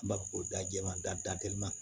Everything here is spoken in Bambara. An b'a fɔ ko da jɛman da da teliman